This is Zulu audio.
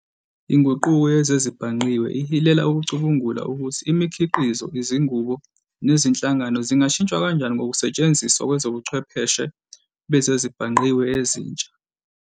Inguquko yezezibhangqiwe ihilela ukucubungula ukuthi imikhiqizo, izinqubo, nezinhlangano zingashintshwa kanjani ngokusetshenziswa kwezobuchwepheshe bezezibhangqiwe ezintsha.